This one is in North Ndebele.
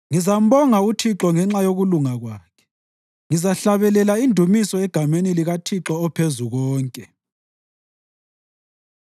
Ngizambonga uThixo ngenxa yokulunga kwakhe; ngizahlabelela indumiso egameni likaThixo oPhezukonke.